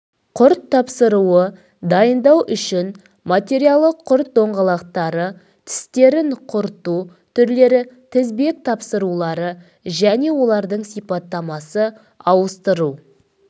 құрт тапсыруы дайындау үшін материалы құрт доңғалақтары тістерін құрту түрлері тізбек тапсырулары және олардың сипаттамасы ауыстыру